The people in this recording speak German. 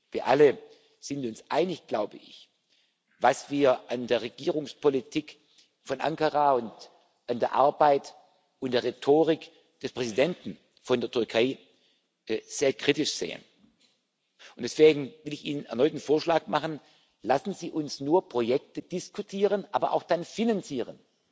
sein. Wir alle sind uns einig, was wir an der Regierungspolitik von Ankara und an der Arbeit und der Rhetorik des Präsidenten der Türkei sehr kritisch sehen. Und deswegen will ich Ihnen erneut einen Vorschlag machen Lassen Sie uns nur Projekte diskutieren aber dann auch